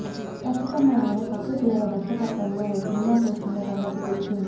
ప్రస్తుతం ఆయన సత్యదేవా దర్శకత్వంలో ఓ సినిమా చేస్తున్న సంగతి తెలిసిందే